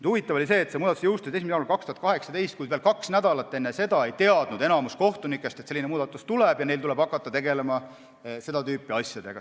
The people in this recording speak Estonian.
Huvitav oli see, et see muudatus jõustus 1. jaanuaril 2018, kuid veel kaks nädalat enne seda ei teadnud enamik kohtunikke, et selline muudatus tuleb ja neil tuleb hakata seda tüüpi asjadega tegelema.